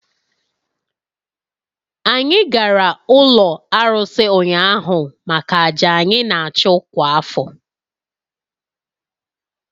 Anyị gara ụlọ arụsị ụnyaahụ maka àjà anyị na-achụ kwa afọ